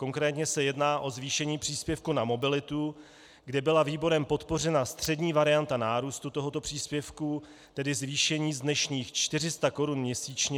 Konkrétně se jedná o zvýšení příspěvku na mobilitu, kde byla výborem podpořena střední varianta nárůstu tohoto příspěvku, tedy zvýšení z dnešních 400 korun měsíčně na 550 korun měsíčně.